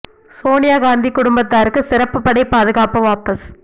சோனியா காந்தி குடும்பத்தாருக்கு சிறப்பு படை பாதுகாப்பு வாபஸ்